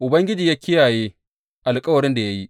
Ubangiji ya kiyaye alkawarin da ya yi.